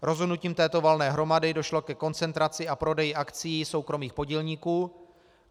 Rozhodnutím této valné hromady došlo ke koncentraci a prodeji akcií soukromých podílníků.